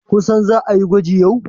kun san za a yi gwaji yau?